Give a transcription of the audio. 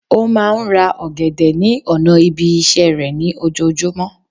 Ó máa n ra ògèdè ní ònà ibi isé rè ní ojojúmó